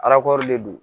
de do